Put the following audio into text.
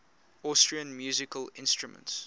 austrian musical instruments